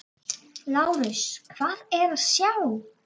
LÁRUS: Hvað er að sjá?